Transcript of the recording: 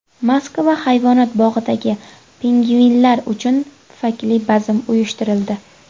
Moskva hayvonot bog‘idagi pingvinlar uchun pufakli bazm uyushtirildi .